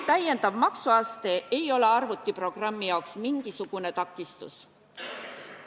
Täiendav maksuaste ei ole arvutiprogrammi jaoks mingisugune takistus.